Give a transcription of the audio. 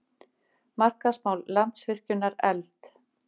Markaðsmál Landsvirkjunar efld